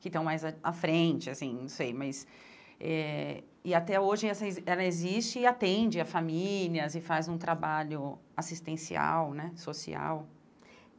que estão mais à frente, assim, não sei, mas... Eh e até hoje essa ela existe e atende as famílias e faz um trabalho assistencial, né, social.